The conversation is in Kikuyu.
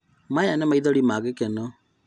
Maya nĩ maithori ma gĩkeno?